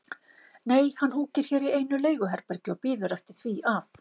Nei, hann húkir hér í einu leiguherbergi og bíður eftir því að